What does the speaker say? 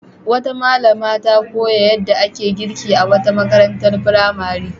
Wata malama ta koya yadda ake girki a wata marantar firamare.